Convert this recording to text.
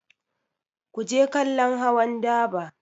Ku je kallon hawan daba!